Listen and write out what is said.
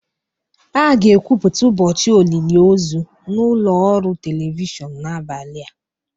A ga-ekwupụta ụbọchị olili ozu na ụlọ ọrụ telivishọn n'abalị a